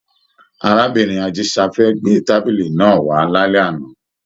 Arábìnrin Ajisafẹ gbé tábìlì náà wá lálẹ́ àná